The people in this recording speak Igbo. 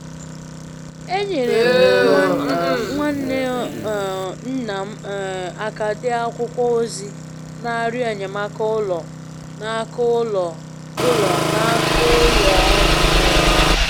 Enyere m nwa nwanne um nna m um aka dee akwụkwọ ozi n'arịọ enyemaka ụlọ n'aka ụlọ ụlọ n'aka ụlọ ọrụ um ahụ.